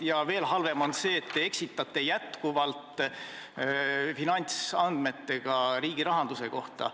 Ja veel halvem on see, et te eksitate jätkuvalt andmetega riigi rahanduse kohta.